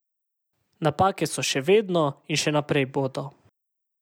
Napake so še vedno in še naprej bodo.